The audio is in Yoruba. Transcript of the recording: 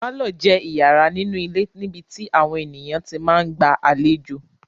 Pálọ̀ jẹ́ ìyàrá nínú ilé níbi tí àwọn ènìyàn tí máa ń gba àlejò.